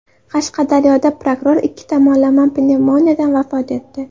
Qashqadaryoda prokuror ikki tomonlama pnevmoniyadan vafot etdi.